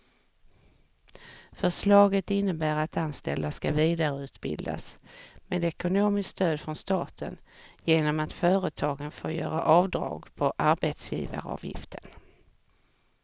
Förslaget innebär att anställda ska vidareutbildas med ekonomiskt stöd från staten genom att företagen får göra avdrag på arbetsgivaravgiften.